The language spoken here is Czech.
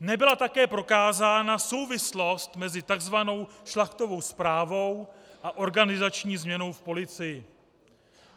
Nebyla také prokázána souvislost mezi tzv. Šlachtovou zprávou a organizační změnou v policii.